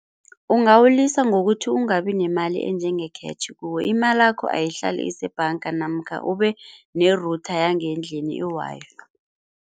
Ungawulisa ngokuthi ungabi nemali enjenge-cash kuwe. Imalakho ayihlale isebhanga namkha ube ne-router yangendlini i-Wi-Fi.